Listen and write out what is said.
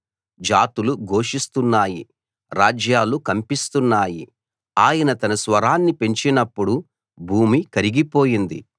జాతులు ఘోషిస్తున్నాయి రాజ్యాలు కంపిస్తున్నాయి ఆయన తన స్వరాన్ని పెంచినప్పుడు భూమి కరిగిపోయింది